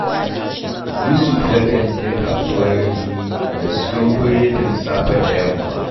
Yusuf yakan je Kasuwar Rimi ya siyo buredin safe da yamma